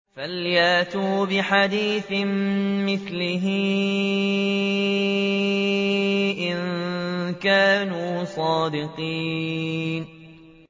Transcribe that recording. فَلْيَأْتُوا بِحَدِيثٍ مِّثْلِهِ إِن كَانُوا صَادِقِينَ